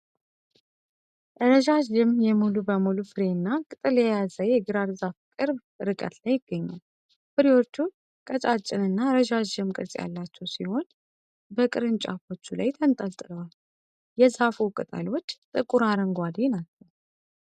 [NO CONTENT FOUND]ረዣዥም የ ሙሉ በሙሉ ፍሬና ቅጠል የያዘ የግራር ዛፍ ቅርብ ርቀት ላይ ይገኛል። ፍሬዎቹ ቀጫጭንና ረዣዥም ቅርጽ ያላቸው ሲሆን፣ በቅርንጫፎቹ ላይ ተንጠልጥለዋል። የዛፉ ቅጠሎች ጥቁር አረንጓዴ ናቸው።